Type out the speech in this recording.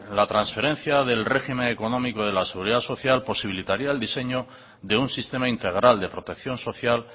la transferencia del régimen económico de la seguridad social posibilitaría el diseño de un sistema integral de protección social